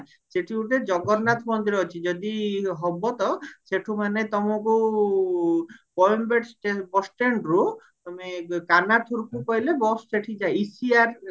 ସେଠି ଗୋଟେ ଜଗନ୍ନାଥ ମନ୍ଦିର ଅଛି ହେଲା ଯଦି ହବ ସେଠୁ ମାନେ ତମକୁ bus standରୁ ତମେ କନାଥୁରକୁ କହିଲେ bus ସେହତିକି ECR